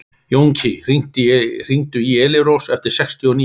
Jónki, hringdu í Elírós eftir sextíu og níu mínútur.